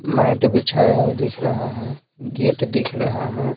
Mat बिछाया दिख रहा है गेट दिख रहा है।